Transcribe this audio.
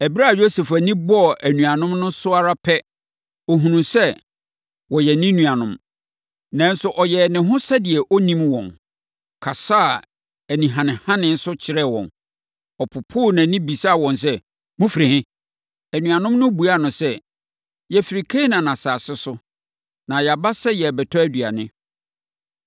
Ɛberɛ a Yosef ani bɔɔ anuanom no so ara pɛ, ɔhunuu sɛ wɔyɛ ne nuanom, nanso ɔyɛɛ ne ho sɛdeɛ ɔnnim wɔn, kasaa anihanehane so kyerɛɛ wɔn. Ɔpoopoo nʼani, bisaa wɔn sɛ, “Mofiri he?” Anuanom no buaa no sɛ, “Yɛfiri Kanaan asase so, na yɛaba sɛ yɛrebɛtɔ aduane.”